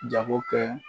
Jago kɛ